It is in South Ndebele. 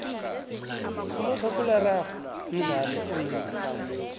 umakhakhulararhwe mdlalo oyingozi